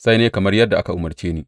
Sai na yi kamar yadda aka umarce ni.